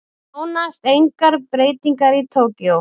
Nánast engar breytingar í Tókýó